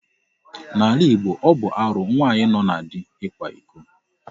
N'ala Igbo, ọ bụ arụ nwaanyị nọ na di ịkwa iko.